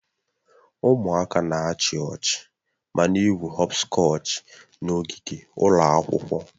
Ụmụaka na-achị ọchị ma na-egwu họpskọchi n'ogige ụlọ akwụkwọ